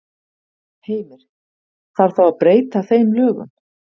Heimir: Þarf þá að breyta þeim lögum?